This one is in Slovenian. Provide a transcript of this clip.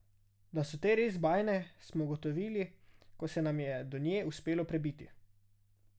Da so te res bajne, smo ugotovili, ko se nam je do nje uspelo prebiti.